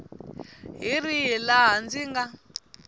hi rihi laha ndzi nga